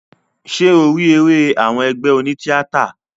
Ṣé o rí eré àwọn ẹgbé oní tíátà?